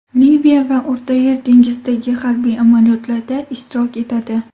Liviya va O‘rtayer dengizidagi harbiy amaliyotlarda ishtirok etadi.